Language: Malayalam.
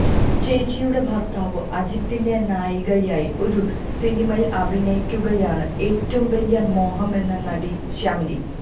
ചേച്ചിയുടെ ഭര്ത്താവ് അജിത്തിന്റെ നായികയായി ഒരു സിനിമയില് അഭിനയിക്കുകയാണ് ഏറ്റവും വലിയ മോഹമെന്ന് നടി ശ്യാമിലി